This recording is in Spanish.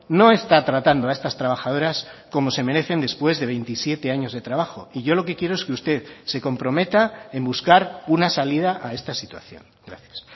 no está tratando a estas trabajadoras como se merecen después de veintisiete años de trabajo y yo lo que quiero es que usted se comprometa en buscar una salida a esta situación gracias